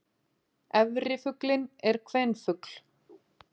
Efri fuglinn er kvenfugl.